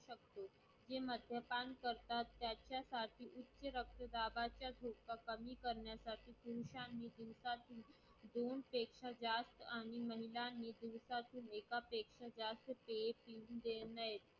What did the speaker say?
जे मध्यपान करतात त्यांच्या रक्तदाबाचा धोका कमी करण्यासाठी पुरुषाने दिवसातून दोनपेक्षा जास्त आणि महिलांनी दिवसातून एकापेक्षा जास्त पेय पियू नयेत.